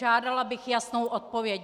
Žádala bych jasnou odpověď.